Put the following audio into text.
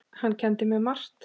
Hann kenndi mér margt.